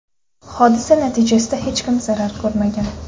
Hodisa natijasida hech kim zarar ko‘rmagan.